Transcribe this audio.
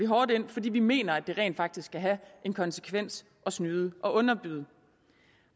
hårdt ind fordi vi mener at det rent faktisk skal have en konsekvens at snyde og underbyde